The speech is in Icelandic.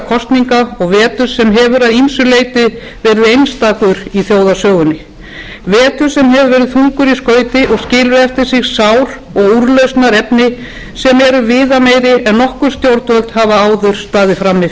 kosninga og vetrar sem hefur að ýmsu leyti verið einstakur í þjóðarsögunni vetrar sem hefur verið þungur í skauti og skilur eftir sig sár og úrlausnarefni sem eru viðameiri en nokkur stjórnvöld hafa áður staðið frammi